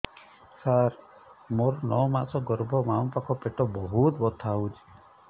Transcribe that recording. ସାର ମୋର ନଅ ମାସ ଗର୍ଭ ବାମପାଖ ପେଟ ବହୁତ ବଥା ହଉଚି